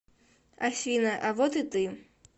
афина а вот и ты